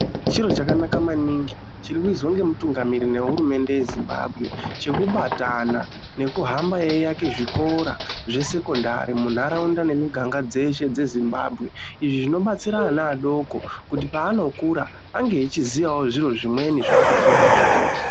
Chiro chakanaka maningi chirikuizwa ngemutungamiri wehurumende yeZimbabwe chekubatana nekuhamba eiake zvikora zvesekondari muntaraunda nemuganga dzeshe dzeZimbabwe izvi zvinobatsira ana adoko kuti paanokura ange echiziyawo zviro zvimweni zvaakafunda kuchikora.